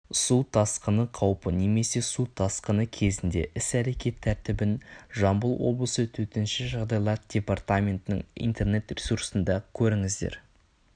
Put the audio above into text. су тасқыны қаупі немесе су тасқыны кезіндегі іс-әрекет тәртібін жамбыл облысы төтенше жағдайлар департаментінің интернет-ресурсында көріңіздер